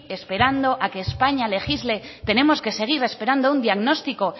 esperando a que españa legisle tenemos que seguir esperando un diagnóstico